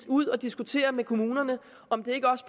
ud og diskutere med kommunerne om det ikke også